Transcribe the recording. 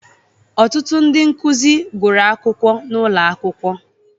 Ọtụtụ ndị nkuzi gụrụ akwụkwọ n'ụlọ akwụkwọ